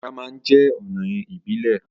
Ìburá ma ń jẹ́ ọ̀nà ìbílẹ̀.